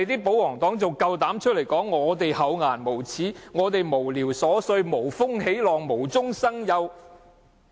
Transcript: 保皇黨還敢說我們厚顏無耻、無聊瑣碎、無風起浪、無中生有。